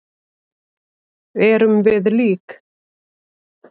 Erum við lík?